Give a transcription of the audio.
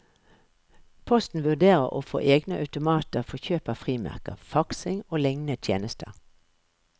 Posten vurderer å få egne automater for kjøp av frimerker, faksing og lignende tjenester.